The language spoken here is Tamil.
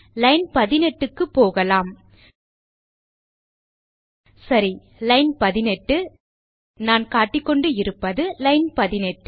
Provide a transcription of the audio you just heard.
லைன் 18 க்குப் போகலாம் சரி லைன் 18 நான் காட்டிக்கொண்டு இருப்பதுதான் லைன் 18